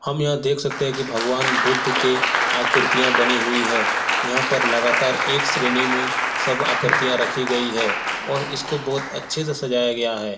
हम यहाँ देख सकते है कि भगवान बुद्ध के आकृतियाँ बनी हुई है यहाँ पर लगातार एक श्रेणी में सब आकृतियाँ रखी गई है और इसको बहुत अच्छे से सजाया गया है।